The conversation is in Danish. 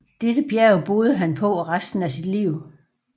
Dette bjerg boede han på resten af sit liv